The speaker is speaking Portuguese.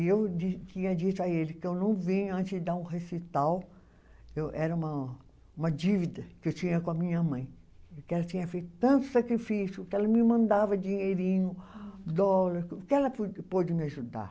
E eu di, tinha dito a ele que eu não vinha antes de dar um recital, eu era uma, uma dívida que eu tinha com a minha mãe, que ela tinha feito tanto sacrifício, que ela me mandava dinheirinho, dólar, o que ela pode pôde me ajudar.